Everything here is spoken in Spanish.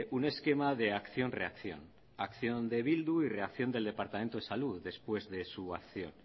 un esquema de acción reacción acción de bildu y reacción del departamento de salud después de su acción